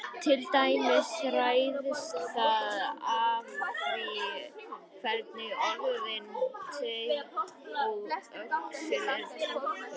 Til dæmis ræðst það af því hvernig orðin teinn og öxull eru túlkuð.